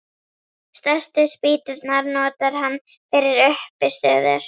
Stærstu spýturnar notar hann fyrir uppistöður.